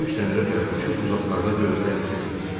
Quş dənizə tərəf uçub uzaqlarda gözdən itdi.